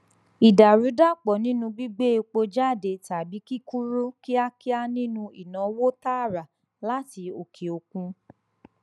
ìdàrúdàpò nínú gbígbé epo jáde tàbí kíkúrú kíákíá nínú ìnáwó tààrà láti òkè òkun